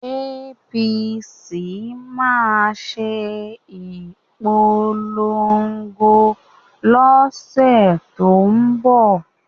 APC máa ṣe ìpolongo lọ́sẹ̀ tó ń bọ̀